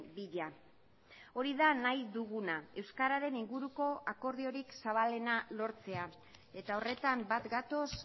bila hori da nahi duguna euskararen inguruko akordiorik zabalena lortzea eta horretan bat gatoz